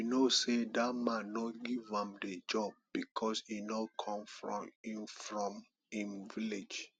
i know say dat man no give am the job because e no come from im from im village